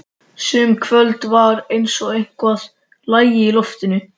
Sum kvöld var eins og eitthvað lægi í loftinu.